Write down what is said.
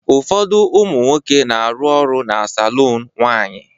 ụfọdụ ụmụ nwoke na-arụ ọrụ na saloon nwanyị